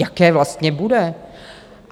Jaké vlastně bude?